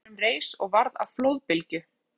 Og dökki skugginn á flóanum reis og varð að flóðbylgju